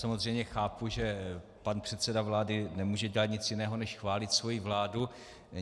Samozřejmě chápu, že pan předseda vlády nemůže dělat nic jiného než chválit svoji vládu.